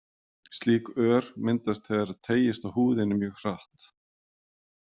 Slík ör myndast þegar teygist á húðinni mjög hratt.